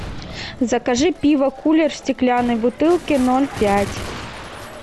закажи пиво кулер в стеклянной бутылке ноль пять